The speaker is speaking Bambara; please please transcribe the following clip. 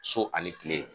So ani kile